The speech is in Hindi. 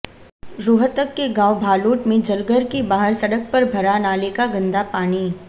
रोहतक के गांव भालौठ मेंे जलघर के बाहर सड़क पर भरा नाले का गंदा पानी